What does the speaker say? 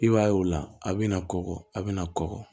I b'a ye o la a bɛ na kɔkɔ a bɛna kɔkɔ